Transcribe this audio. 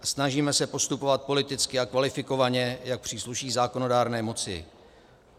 Snažíme se postupovat politicky a kvalifikovaně, jak přísluší zákonodárné moci.